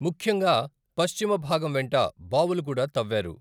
ముఖ్యంగా పశ్చిమ భాగం వెంట బావులు కూడా తవ్వారు.